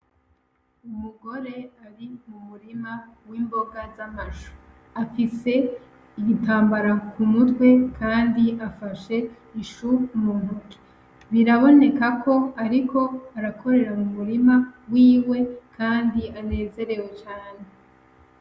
Umugore ari mu murima w'imboga z'amashu afise igitambara ku mutwe, kandi afashe ishu muntuki birabonekako, ariko arakorera mu murima wiwe, kandi anezerewe cane.